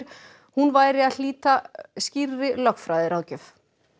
hún væri að hlýta skýrri lögfræðiráðgjöf